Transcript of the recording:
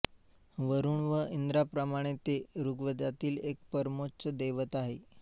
वरुण व इंद्राप्रमाणे ते ऋग्वेदातील एक परमोच्च दैवत आहे